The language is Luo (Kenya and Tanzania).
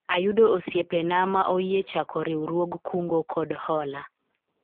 ayudo osiepena ma oyie chako riwruog kungo kod hola